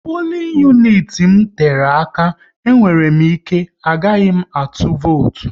Pulin uniti m tere aka, e nwere ike agaghị m atụnwu votu